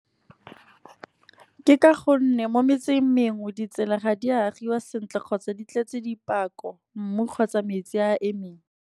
Ke ka gonne mo metseng mengwe ditsela ga di a agiwa sentle kgotsa di tletse dipako, mmu kgotsa metsi a emeng.